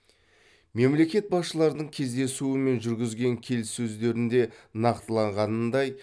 мемлекет басшыларының кездесуі мен жүргізген келіссөздерінде нақтыланғанындай